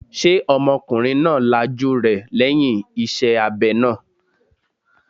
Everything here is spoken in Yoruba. Ṣé ọmọkùnrin náà lajú rẹ̀ lẹ́yìn iṣẹ́ abẹ náà?